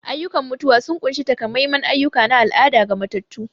Ayyukan mutuwa sun ƙunshi takamaiman ayyuka na al'ada ga matattu.